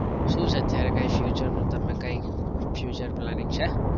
શું છે અત્યારે કઈ future નું તમે કઈ future planning છે?